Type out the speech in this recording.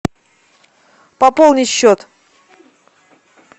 пополнить счет